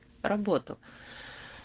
работу